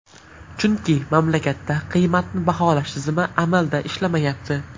Chunki mamlakatda qiymatni baholash tizimi amalda ishlamayapti.